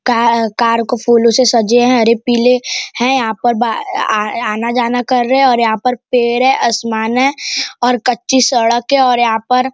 काहा कार को फूलों से सजे हैं हरे पीले हैं यहां पर अ ऐ आ आना जाना कर रहे है और यहां पर पेड़ है आसमान है और कच्ची सड़क है और यहाँ पर --